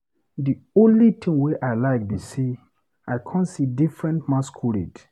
The only thing wey I like be say I come see different masquerade.